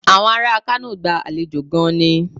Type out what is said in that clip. Àwọn ará Kano gba àlejò gan-an ni.